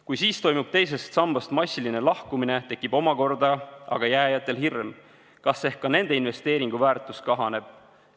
Kui siis toimub teisest sambast massiline lahkumine, tekib omakorda aga jääjatel hirm, kas ehk ka nende investeeringu väärtus kahaneb.